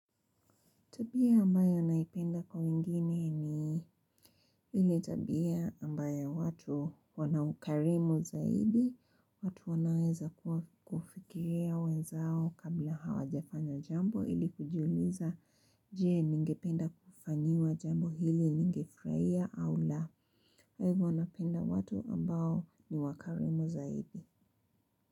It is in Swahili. Tabia ambayo naipenda kwa wengine ni ile tabia ambayo watu wana ukarimu zaidi, watu wanaweza kufikiria wenzao kabla hawajafanya jambo ili kujuliza je, ningependa kufanyiwa jambo hili ningefurahia au la. Kwa hivyo napenda watu ambao ni wakarimu zaidi.